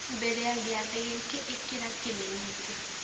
mbere ya gĩathĩ gĩkĩ ĩkĩra kĩmenyithia